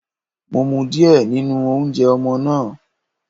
Mo mu díẹ̀ nínú oúnjẹ ọmọ náà.